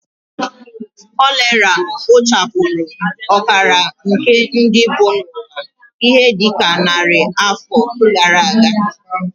Kolera kpochapụrụ ọkara nke ndị bi n'ụwa ihe dị ka narị afọ gara aga